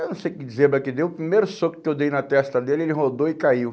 Eu não sei o que dizer, mas que deu o primeiro soco que eu dei na testa dele, ele rodou e caiu.